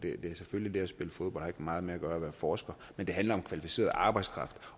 selvfølgelig at spille fodbold ikke meget med at være forsker men det handler om kvalificeret arbejdskraft